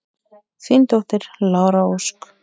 Þín dóttir, Lára Ósk.